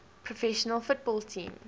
professional football team